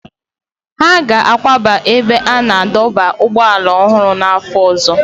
Ha ga-akwaga n'ebe a na-adọba ụgbọala ọhụrụ n'afọ ọzọ.